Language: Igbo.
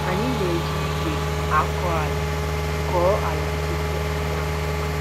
Anyị na-eji ìgwè akọ ala kọọ ala tupu anyị akụ ọka.